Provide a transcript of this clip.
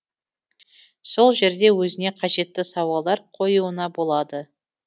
сол жерде өзіне қажетті сауалдар қоюына болады